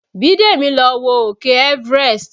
Bidemi lọ wo òkè Everest